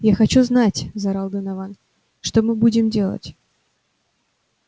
я хочу знать заорал донован что мы будем делать